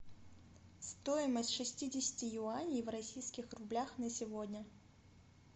стоимость шестидесяти юаней в российских рублях на сегодня